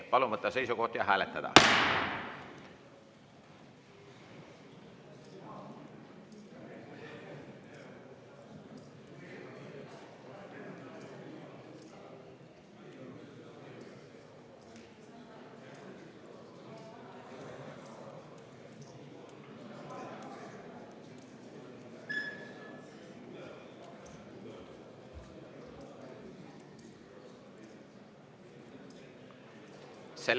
Palun võtta seisukoht ja hääletada!